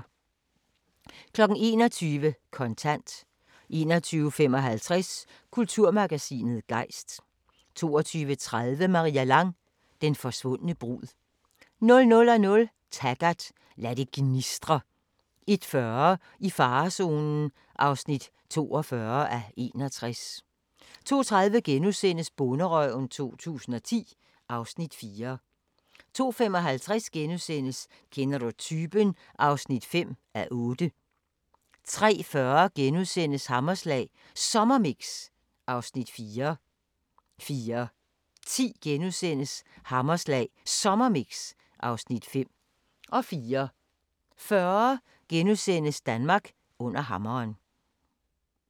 21:00: Kontant 21:55: Kulturmagasinet Gejst 22:30: Maria Lang: Den forsvundne brud 00:00: Taggart: Lad det gnistre 01:40: I farezonen (42:61) 02:30: Bonderøven 2010 (Afs. 4)* 02:55: Kender du typen? (5:8)* 03:40: Hammerslag Sommermix (Afs. 4)* 04:10: Hammerslag Sommermix (Afs. 5)* 04:40: Under hammeren *